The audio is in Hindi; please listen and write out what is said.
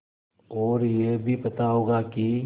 और यह भी पता होगा कि